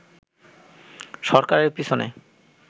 সরকারের পিছনে